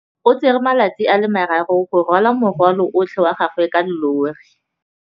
O tsere malatsi a le marraro go rwala morwalo otlhe wa gagwe ka llori.